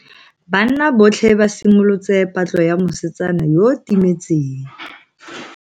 Banna botlhe ba simolotse patlo ya mosetsana yo o timetseng.